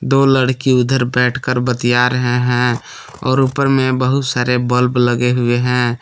दो लड़की उधर बैठकर बतिया रहे हैं और ऊपर में बहुत सारे बल्ब लगे हुए हैं।